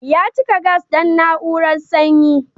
Ya cika gas don na'urar sanyi.